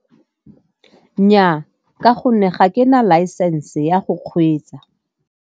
Nnyaa, ka gonne ga ke na laesense ya go kgweetsa.